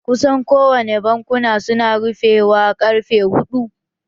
Kusan kowane bankuna su na rufewa ƙarfe huɗ-u